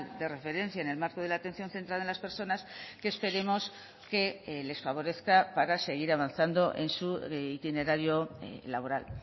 de referencia en el marco de la atención centrada en las personas que esperemos que les favorezca para seguir avanzando en su itinerario laboral